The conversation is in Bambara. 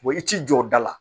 i t'i jɔ da la